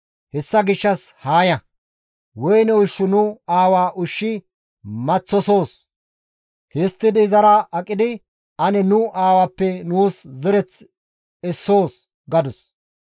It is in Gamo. Hessa gishshas haa ya; woyne ushshu nu aawa ushshi maththosoos; histtidi izara aqidi ane nu aawappe nuus zereth essoos» gadus.